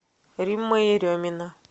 римма еремина